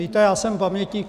Víte, já jsem pamětník.